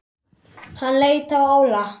Hann leit á Óla.